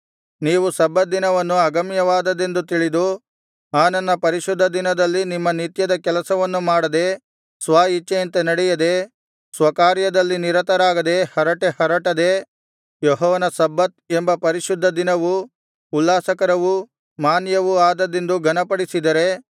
ನೀವು ಸಬ್ಬತ್ ದಿನವನ್ನು ಅಗಮ್ಯವಾದದ್ದೆಂದು ತಿಳಿದು ಆ ನನ್ನ ಪರಿಶುದ್ಧ ದಿನದಲ್ಲಿ ನಿಮ್ಮ ನಿತ್ಯದ ಕೆಲಸವನ್ನು ಮಾಡದೆ ಸ್ವಇಚ್ಛೆಯಂತೆ ನಡೆಯದೆ ಸ್ವಕಾರ್ಯದಲ್ಲಿ ನಿರತರಾಗದೆ ಹರಟೆಹರಟದೆ ಯೆಹೋವನ ಸಬ್ಬತ್ ಎಂಬ ಪರಿಶುದ್ಧದಿನವು ಉಲ್ಲಾಸಕರವೂ ಮಾನ್ಯವೂ ಆದದ್ದೆಂದು ಘನಪಡಿಸಿದರೆ